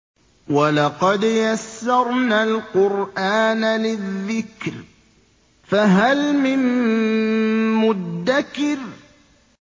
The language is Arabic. وَلَقَدْ يَسَّرْنَا الْقُرْآنَ لِلذِّكْرِ فَهَلْ مِن مُّدَّكِرٍ